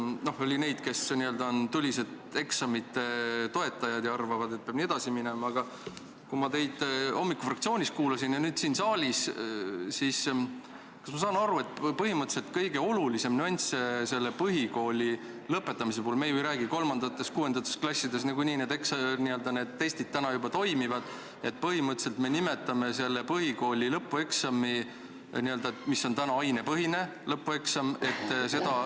No oli neid, kes on n-ö tulised eksamite toetajad ja arvavad, et nii peab ka edasi minema, aga kui ma teid hommikul fraktsioonis kuulasin ja nüüd siin saalis kuulan, siis kas ma saan õigesti aru, et kõige olulisem nüanss põhikooli lõpetamise puhul – me ju ei räägi 3. ja 6. klassist, seal need testid niikuinii juba toimivad – on see, et me põhimõtteliselt nimetame põhikooli lõpueksami, mis täna on ainepõhine eksam, ümber.